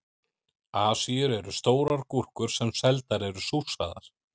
Asíur eru stórar gúrkur sem seldar eru súrsaðar.